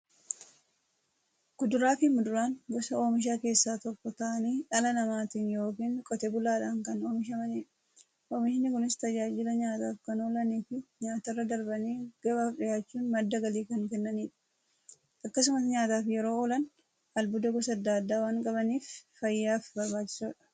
Kuduraafi muduraan gosa oomishaa keessaa tokko ta'anii, dhala namaatin yookiin Qotee bulaadhan kan oomishamaniidha. Oomishni Kunis, tajaajila nyaataf kan oolaniifi nyaatarra darbanii gabaaf dhiyaachuun madda galii kan kennaniidha. Akkasumas nyaataf yeroo oolan, albuuda gosa adda addaa waan qabaniif, fayyaaf barbaachisoodha.